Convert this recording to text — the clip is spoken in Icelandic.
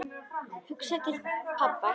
Hugsaði til pabba.